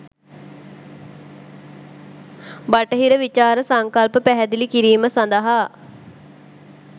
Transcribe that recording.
බටහිර විචාර සංකල්ප පැහැදිලි කිරීම සඳහා